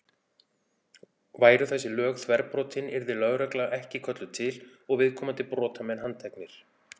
Væru þessi lög þverbrotin yrði lögregla ekki kölluð til og viðkomandi brotamenn handteknir.